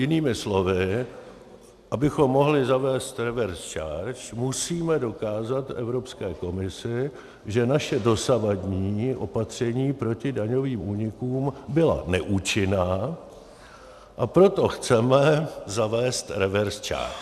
Jinými slovy, abychom mohli zavést reverse charge, musíme dokázat Evropské komisi, že naše dosavadní opatření proti daňovým únikům byla neúčinná, a proto chceme zavést reverse charge.